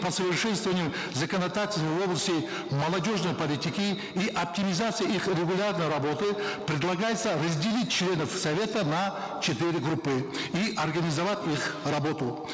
по совершенствованию законодательной области молодежной политики и оптимизации их регулярной работы предлагается разделить членов совета на четыре группы и организовать их работу